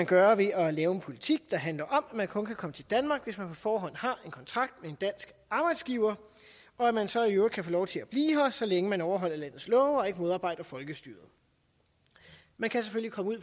gøre ved at lave en politik der handler om at man kun kan komme til danmark hvis man på forhånd har en kontrakt med en dansk arbejdsgiver og at man så i øvrigt kan få lov til at blive her så længe man overholder landets love og ikke modarbejder folkestyret man kan selvfølgelig komme ud